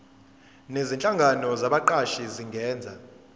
nezinhlangano zabaqashi zingenza